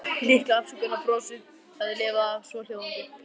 Litla afsökunarbrosið hafði lifað af, svohljóðandi